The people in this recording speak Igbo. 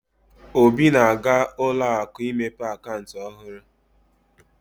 Obi na-aga ụlọ akụ imepe akaụntụ ọhurụ.